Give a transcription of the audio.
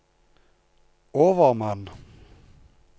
overmann